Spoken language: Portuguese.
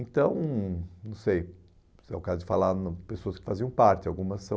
Então, hum não sei, se é o caso de falar nome de pessoas que faziam parte, algumas são...